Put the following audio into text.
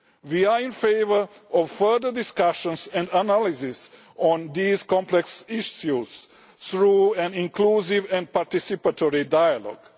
We are in favour of further discussions and analyses on these complex issues through an inclusive and participatory dialogue.